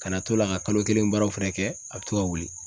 Kana to la ka kalo kelen baaraw fɛnɛ kɛ a be to ka wuli